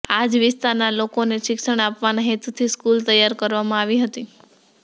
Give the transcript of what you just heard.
આ જ વિસ્તારના લોકોને શિક્ષણ આપવાના હેતુંથી સ્કૂલ તૈયાર કરવામાં આવી હતી